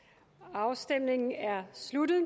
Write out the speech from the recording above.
afstemningen er sluttet